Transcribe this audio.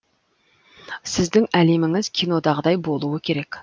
сіздің әлеміңіз кинодағындай болуы керек